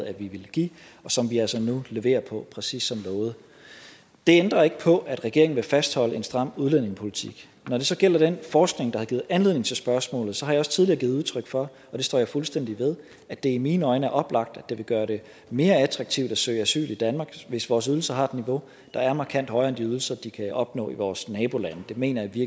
at vi ville give og som vi altså nu giver præcis som lovet det ændrer ikke på at regeringen vil fastholde en stram udlændingepolitik når det så gælder den forskning der har givet anledning til spørgsmålet så har jeg også tidligere givet udtryk for og det står jeg fuldstændig ved at det i mine øjne er oplagt at det vil gøre det mere attraktivt at søge asyl i danmark hvis vores ydelser har et niveau der er markant højere end de ydelser de kan opnå i vores nabolande det mener jeg i